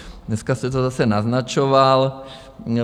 Dneska jste to zase naznačoval.